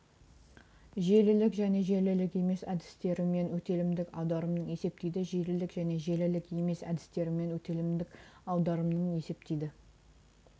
желілік және желілік емес әдістерімен өтелімдік аударымның есептейді желілік және желілік емес әдістерімен өтелімдік аударымның есептейді